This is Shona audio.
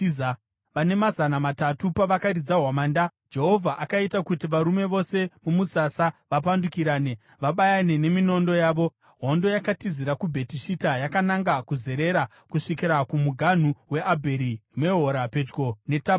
Vane mazana matatu pavakaridza hwamanda, Jehovha akaita kuti varume vose mumusasa vapandukirane, vabayane neminondo yavo. Hondo yakatizira kuBheti Shita yakananga kuZerera kusvikira kumuganhu weAbheri Mehora pedyo neTabhati.